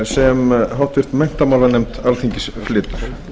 sem háttvirtur menntamálanefnd alþingis flytur